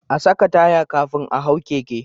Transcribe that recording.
A saka taya kafin a hau keke